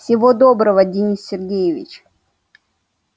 всего доброго денис сергеевич